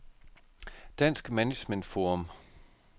Dansk Management Forum